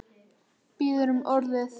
Biður um orðið.